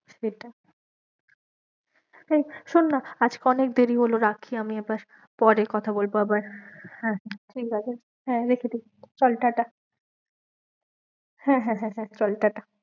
সেটা এই শোন না আজকে অনেক দেরি হলো রাখি আমি এবার, পরে কথা বলবো আবার, হ্যাঁ ঠিক আছে হ্যাঁ রেখে দে, চল টাটা হ্যাঁ হ্যাঁ হ্যাঁ হ্যাঁ, চল টাটা।